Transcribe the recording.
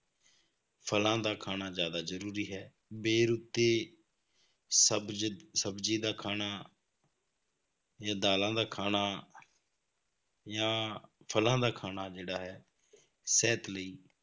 ਫਲਾਂ ਦਾ ਖਾਣਾ ਜ਼ਿਆਦਾ ਜ਼ਰੂਰੀ ਹੈ, ਬੇਰੁੱਤੀ ਸਬਜ਼~ ਸਬਜ਼ੀ ਦਾ ਖਾਣਾ ਜਾਂ ਦਾਲਾਂ ਦਾ ਖਾਣਾ ਜਾਂ ਫਲਾਂ ਦਾ ਖਾਣਾ ਜਿਹੜਾ ਹੈ ਸਿਹਤ ਲਈ